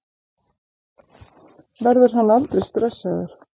Verður hann aldrei stressaður?